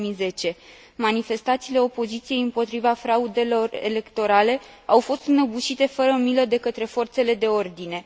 2010. Manifestațiile opoziției împotriva fraudelor electorale au fost înăbușite fără milă de către forțele de ordine.